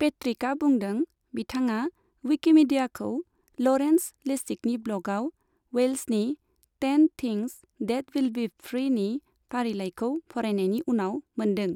पेट्रिकआ बुंदों बिथाङा विकिमीडियाखौ ल'रेन्स लेसिगनि ब्ल'गआव वेल्सनि ten things that will be फ्रीनि फारिलाइखौ फरायनायनि उनाव मोनदों।